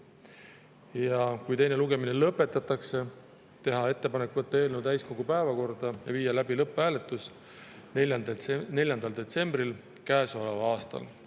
Ja kui teine lugemine lõpetatakse, teha ettepanek võtta eelnõu täiskogu päevakorda ja viia läbi lõpphääletus 4. detsembril käesoleval aastal.